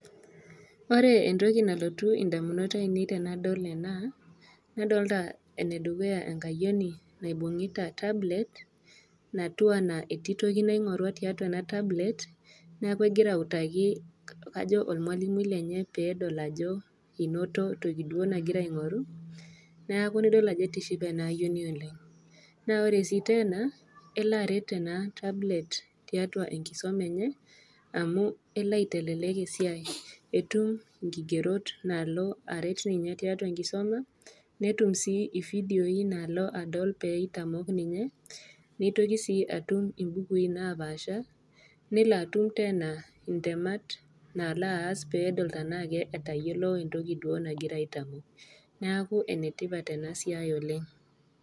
Ore entoki nalotu indamunot ainei tenadol ena, nadolita ene dukuya enkayioni naibung'ita tablet, natiu anaa etii toki naing'orua tiatua ena tablet, neaku egira autaki olmwalimui lenye peedol ajo, einoto toki duo nagira aing'oru, neaku nidol ajo atishipe ena ayioni oleng'. Naa ore sii teena, elo aret ena tablet tiatua enkisoma enye, amu elo aitelelek esiai, etum inkigerot naalo aret ninye tiatua enkisuma, netum sii ividioi naalo adol pee eitamok ninye, neitoki sii atum imbukui napaasha , nelo atum teena intemat naalo aas peedol tanaake etayiolou entoki duo nagirai aitamook, neaku enetipat ena siai oleng'.